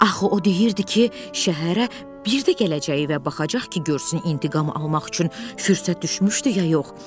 Axı o deyirdi ki, şəhərə bir də gələcəyi və baxacaq ki, görsün intiqam almaq üçün fürsət düşmüşdü ya yox.